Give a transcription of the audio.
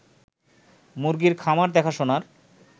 মুরগির খামার দেখাশোনার